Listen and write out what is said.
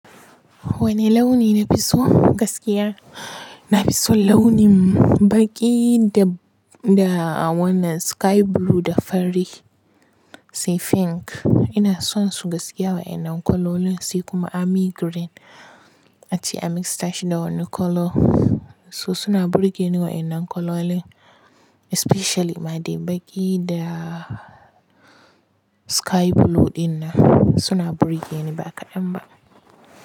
Wanne launi na fi so gaskiya? Na fi son launin baki da, da a wannan sky blue da fari sai pink. Ina son su gaskiya wa'innan kalolin sai kuma army green. A ce an yi mixture shi na wani kalo. So suna burge ni wa'innan kalolin especially ma dai baki da sky blue dinnan suna burge ni ba kaɗan ba.